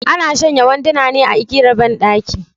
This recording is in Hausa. Ana shanya wanduna ne a igiyar banɗaki